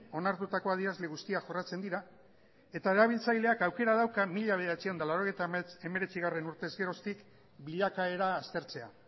onartutako adierazle guztiak jorratzen dira eta erabiltzaileak aukera dauka mila bederatziehun eta laurogeita hemeretzigarrena urtez geroztik bilakaera aztertzea